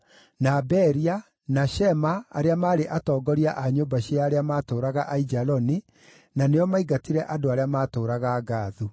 na Beria, na Shema arĩa maarĩ atongoria a nyũmba cia arĩa maatũũraga Aijaloni, na nĩo maingatire andũ arĩa maatũũraga Gathu.